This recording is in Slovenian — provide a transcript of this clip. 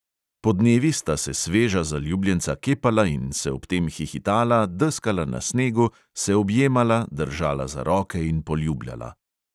Podnevi sta se sveža zaljubljenca kepala in se ob tem hihitala, deskala na snegu, se objemala, držala za roke in poljubljala.